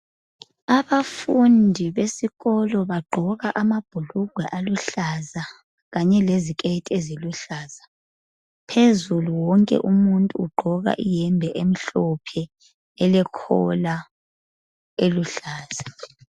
Abafundi besikolo bagqoka amabhulugwe aluhlaza kanye leziketi eziluhlaza, phezulu wonke umuntu ugqoka iyembe emhlophe elekhola eluhlaza